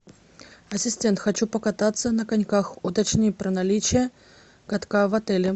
ассистент хочу покататься на коньках уточни про наличие катка в отеле